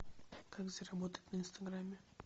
как заработать на инстаграме